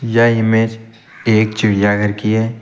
यह इमेज एक चिड़ियाघर की है।